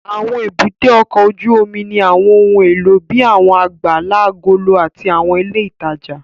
Àwọn èbúté ọkọ̀ ojú omi òkun ní àwọn ohun èlò bíi àwọn àgbàlá agolo àti àwọn ilé ìtajà